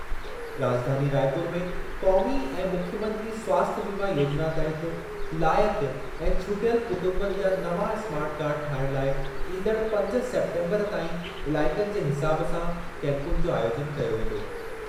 राॼधानी रायपुर में क़ौमी ऐं मुख्यमंत्री स्वास्थ्य बीमा योजिना तहति लाइक़ु ऐं छुटियल कुटुंबनि जा नवां स्मार्ट कार्ड ठाहिणु लाइ ईंदड़ु पंज सेप्टेम्बरु ताईं इलाइक़नि जे हिसाब सां कैंपुनि जो आयोजनु कयो वेंदो।